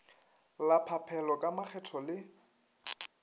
la phaphelo ka makgetho le